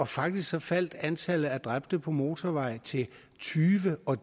faktisk faldt antallet af dræbte på motorveje til tyve og